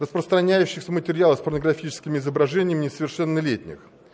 распространяющихся материала с порнографическими изображениями несовершеннолетних